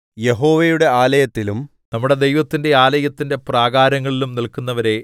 യഹോവയുടെ ആലയത്തിലും നമ്മുടെ ദൈവത്തിന്റെ ആലയത്തിന്റെ പ്രാകാരങ്ങളിലും നില്‍ക്കുന്നവരേ